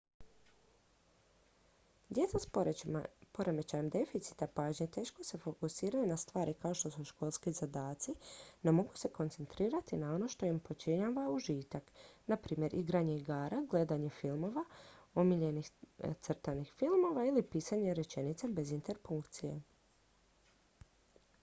djeca s poremećajem deficita pažnje teško se fokusiraju na stvari kao što su školski zadaci no mogu se koncentrirati na ono što im pričinjava užitak na primjer igranje igara gledanje omiljenih crtanih filmova ili pisanje rečenica bez interpunkcije